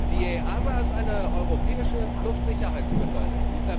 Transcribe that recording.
Die EASA ist eine europäische Luftsicherheitsbehörde.